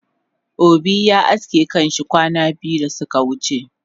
Obi ya aske kanshi kwana biyu dasuka wuce